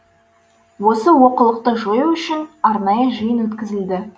осы олқылықты жою үшін арнайы жиын өткізілді